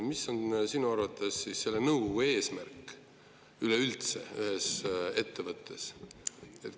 Mis sinu arvates nõukogu eesmärk ühes ettevõttes üldse on?